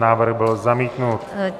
Návrh byl zamítnut.